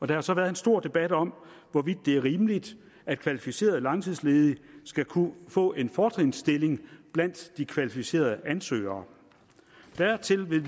der har så været en stor debat om hvorvidt det er rimeligt at kvalificerede langtidsledige skal kunne få en fortrinsstilling blandt de kvalificerede ansøgere dertil vil